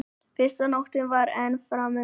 Fyrsta nóttin væri enn framundan.